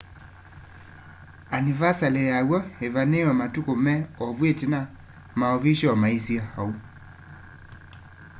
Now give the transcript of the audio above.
anivasali yaw'o îvanîîwe matuku me ovu itina maovishoo maisye ou